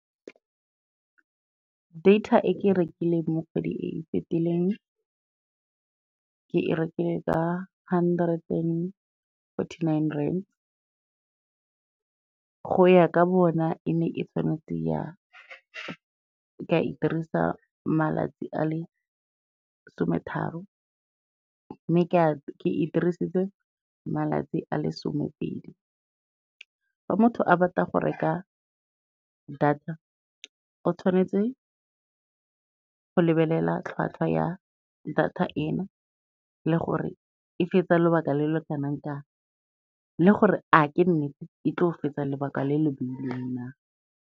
Data e ke e rekileng mo kgwedi e e fetileng, ke e rekile ka hundred and forty-nine rand, go ya ka bona e ne e tshwanetse ka e dirisa malatsi a le sometharo, mme ke ke dirisitse malatsi a le somepedi. Fa motho a batla go reka data, o tshwanetse go lebelela tlhwatlhwa ya data eno le gore e fetsa lobaka le le kanang kang le gore a ke nnete e tlo go fetsa lebaka le le bailweng na.